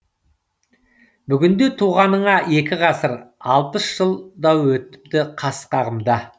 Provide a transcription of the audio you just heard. бүгінде туғаныңа екі ғасыр алпыс жыл да өтіпті қас қағымда